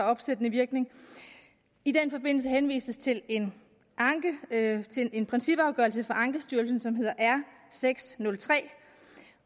opsættende virkning i den forbindelse henvises til en en principafgørelse fra ankestyrelsen som hedder r seks nul tre